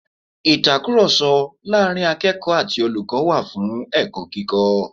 Ìtakùròsọ láàrin akẹ́ẹ̀kọ̀ọ́ ati olùkọ́ wà fún ẹ̀kọ́ kíkọ́